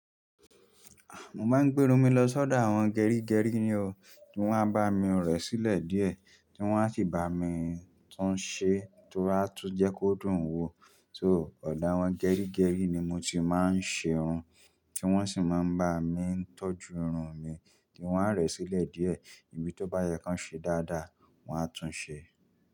Mo máa ń gbé irun mi lọ sọ́dọ̀ àwọn gerígerí ni o. Tí wọ́n á bá mi rẹ̀ sílẹ̀ díẹ̀, tí wọ́n á sì bá mi tún un ṣe torí á tún jẹ́ kó dùn wo. So, ọ̀dọ̀ àwọn gerígerí ni mo ti máa ń ṣe irun. Kí wọ́n sì máa ń bá mi tọ́jú irun mi, kí wọ́n á rẹ̀ ẹ sílẹ̀ díẹ̀. Èyi tí ó bá yẹ kán ṣe dáadáa, wọ́n á tún ṣe.